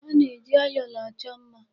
A na-eji ayọla achọ mma.